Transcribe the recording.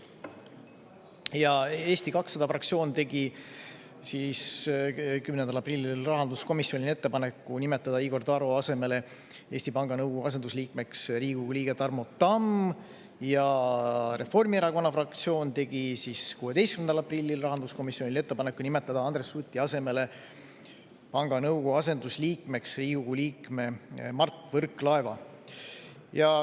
Ja Eesti 200 fraktsioon tegi 10. aprillil rahanduskomisjonile ettepaneku nimetada Igor Taro asemele Eesti Panga nõukogu asendusliikmeks Riigikogu liige Tarmo Tamm ja Reformierakonna fraktsioon tegi 16. aprillil rahanduskomisjonile ettepaneku nimetada Andres Suti asemele panga nõukogu asendusliikmeks Riigikogu liikme Mart Võrklaeva.